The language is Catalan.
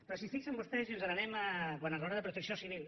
però si es fixen vostès i ens n’anem a quan enraona de protecció civil